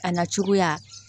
A na cogoya